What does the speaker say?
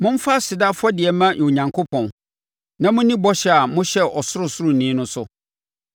Momfa aseda afɔdeɛ mma Onyankopɔn, na monni bɔhyɛ a mohyɛɛ Ɔsorosoroni no so,